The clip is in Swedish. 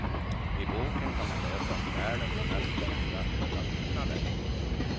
I boken kan man läsa om världens mest kända höga byggnader.